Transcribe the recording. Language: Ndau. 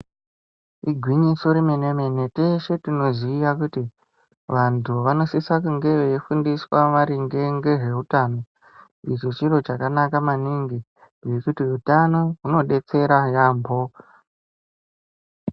Igwinyiso remene mene, teshe tinoziva kuti vantu vanosisa kunge veifundiswa maringe ngezveutano, izvo chiro chakanaka maningi ngekuti utano unobetsera yaamho.